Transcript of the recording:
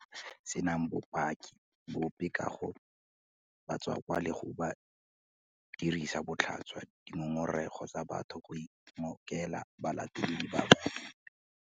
Senang bopaki bope ka ga batswakwa le go dirisa botlhaswa dingongorego tsa batho go ingokela balatedi ba bangwe.